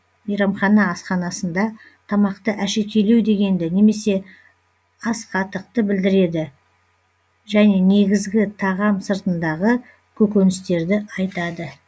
мейрамхана асханасында тамақты әшекейлеу дегенді немесе асқатықты білдіреді және негізгі тағам сыртындағы көкөністерді айтады